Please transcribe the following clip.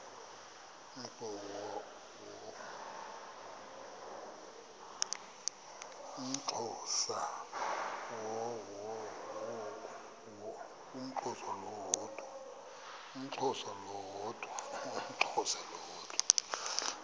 umxhosa lo woda